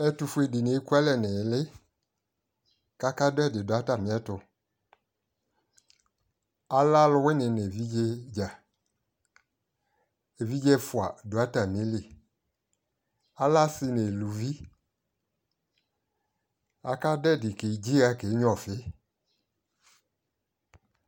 ɛtufue di ni eku alɛ nili ko aka do ɛdi do atame ɛtualɛ aluwini no evidze dza, evidze ɛfua do atame li, alɛ asi no eluvi aka do edi kedzi iha kenyua ɔfi